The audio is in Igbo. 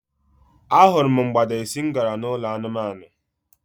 A hụrụ m mgbada esi m gara n'ụlọ anụmanụ.